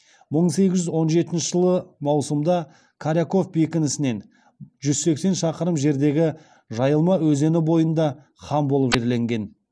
мың сегіз жүз он жетінші жылы маусымда коряков бекінісінен жүз сексен шақырым жердегі жайылма өзені бойында хан болып жерленген